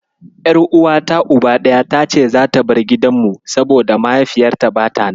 Ƴar'uawata Uba ɗaya tace zata bar gidanmu, saboda mahaifiyarta bata nan.